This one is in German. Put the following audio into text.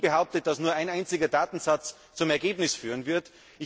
Ich habe nie behauptet, dass nur ein einziger Datensatz zum Ergebnis führen wird.